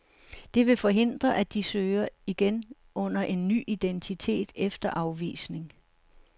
Det vil forhindre, at de søger igen under en ny identitet efter afvisning.